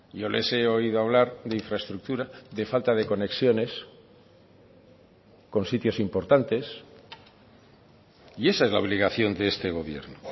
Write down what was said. yo les he oído hablar de infraestructura de falta de conexiones con sitios importantes y esa es la obligación de este gobierno